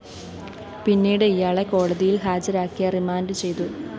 പിന്നീട് ഇയാളെ കോടതിയില്‍ ഹാജരാക്കിയ റിമാൻഡ്‌ ചെയ്തു